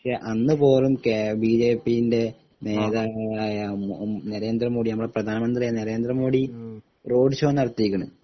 പക്ഷെ അന്ന് പോലും ബിജെപി ൻ്റെ നേതാവായ ഏഹ് നരേന്ദ്ര മോഡി നമ്മളെ പ്രധാനമന്ത്രി ആയ നരേന്ദ്ര മോഡി റോഡ് ഷോ നടത്തിയിരിക്കുന്നു